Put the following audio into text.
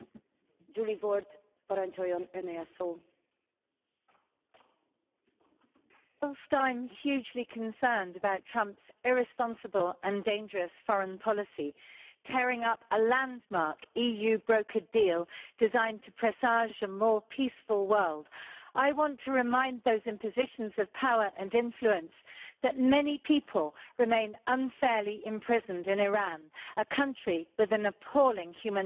Madam President, whilst I am hugely concerned about Trump's irresponsible and dangerous foreign policy, tearing up a landmark, EU brokered deal designed to presage a more peaceful world, I want to remind those in positions of power and influence that many people remain unfairly imprisoned in Iran, a country with an appalling human rights record.